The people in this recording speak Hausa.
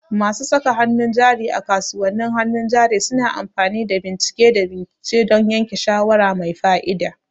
Masu saka hannun jari a kasuwannin hannun jari suna amfani da bincike da bincike don yanke shawara mai fa'ida.